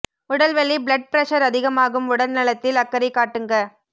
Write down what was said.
உடல் வலி blood pressure அதிகமாகும் உடல் நலத்தில அக்கறை காட்டுங்க